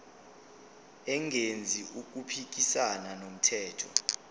engenzi okuphikisana nomthetho